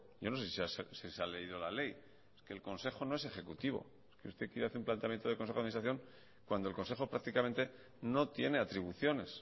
yo no sé si se ha leído la ley es que el consejo no es ejecutivo es que usted quiere hacer un planteamiento de consejo de administración cuando el consejo prácticamente no tiene atribuciones